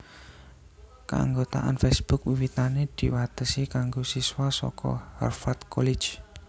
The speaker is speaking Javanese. Kaanggotaan Facebook wiwitané diwatesi kanggo siswa saka Harvard College